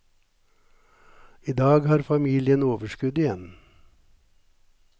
I dag har familien overskudd igjen.